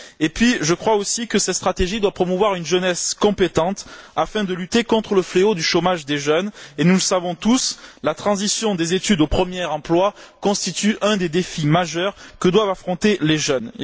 En outre, je crois aussi que cette stratégie doit promouvoir une jeunesse compétente afin de lutter contre le fléau du chômage des jeunes et, nous le savons tous, la transition des études au premier emploi constitue un des défis majeurs que doivent affronter les jeunes.